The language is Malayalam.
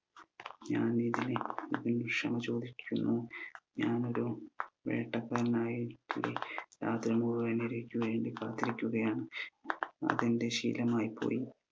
ഞാൻ ഇതിന് ക്ഷമ ചോദിക്കുന്നു ഞാൻ ഒരു വേട്ടക്കാരനായി രാത്രി മുഴുവൻ ഇരക്ക് വേണ്ടി കാത്തിരിക്കുകയാണ് അതെന്റെ ശീലമായിപ്പോയി